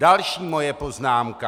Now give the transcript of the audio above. Další moje poznámka.